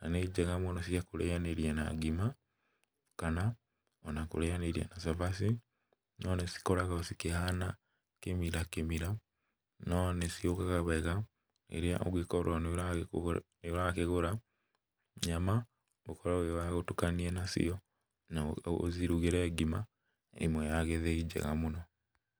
na nĩ njega mũno cia kũrĩanĩria na ngima kana ona kũrĩanĩria na cabaci, no nĩcikoragwo cikĩhana kĩmira kĩmira, no nĩciũkaga wega rĩrĩa ũngĩkorwo nĩũrakĩgũra nyama ũkorwo wĩ wa gũtukania nacio na ũcirugĩre ngima ĩmwe ya gĩthĩi njega mũno.